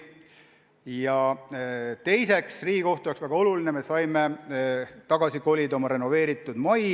Ja teiseks, Riigikohtu jaoks on väga oluline, me saime tagasi kolida oma renoveeritud majja.